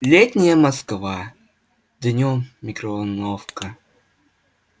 летняя москва днём микроволновка